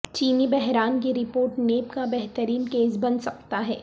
چینی بحران کی رپورٹ نیب کا بہترین کیس بن سکتا ہے